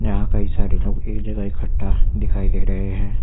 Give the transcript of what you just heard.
यहां कई सारे लोग एक जगह इकट्ठा दिखाई दे रहे हैं।